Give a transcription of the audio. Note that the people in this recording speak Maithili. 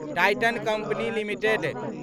Titan company limited